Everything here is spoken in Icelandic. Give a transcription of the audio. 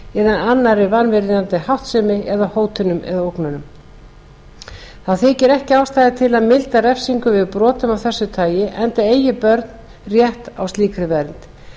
annarri vanvirðandi háttsemi eða hótunum eða ógnunum þá þykir ekki ástæða til að milda refsingu við brotum af þessu tagi enda eigi börn rétt á slíkri vernd